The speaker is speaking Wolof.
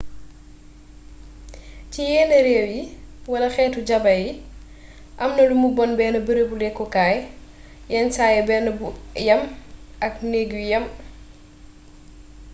ci yénn rééwyi wala xéétu jaba yi amna lumu bon bénn beereebu lékku kaay yénn saay bénn bu yama k ay njeeg yu yam